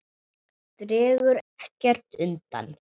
Dregur ekkert undan.